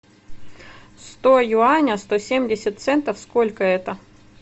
сто юаня сто семьдесят центов сколько это